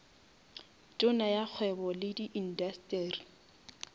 tona ya kgwebo le indasteri